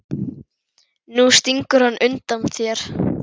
Nú stingur hann undan þér!